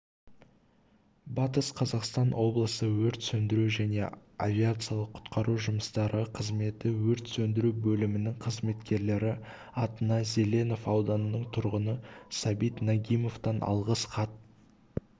батыс қазақстан облысы өрт сөндіру және авариялық-құтқару жұмыстары қызметі өрт сөндіру бөлімінің қызметкерлері атына зеленов ауданының тұрғыны сабит нагимовтан алғыс хат